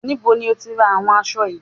Níbo lo tí ra àwọn aṣọ yìí?